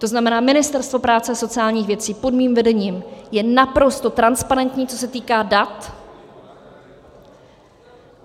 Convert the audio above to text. To znamená, Ministerstvo práce a sociálních věcí pod mým vedením je naprosto transparentní, co se týká dat.